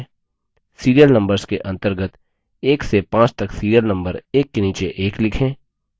serial numbers के अंतर्गत 1 से 5 तक serial number एक के नीचे एक लिखें